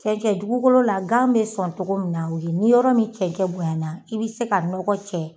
Cɛncɛn dugukolo la gan be sɔn togo mun na o ye ni yɔrɔ min cɛncɛn bonya na i be se ka nɔgɔ cɛ